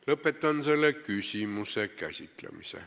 Lõpetan selle küsimuse käsitlemise.